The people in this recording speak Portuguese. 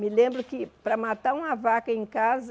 Me lembro que para matar uma vaca em casa,